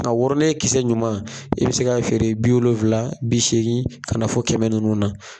A wɔrɔnlen kisɛ ɲuman, i bi se ka feere bi wolonvila bi seegin ka na fo kɛmɛ nunnu na.